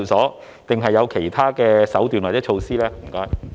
還是當局有其他手段或措施呢？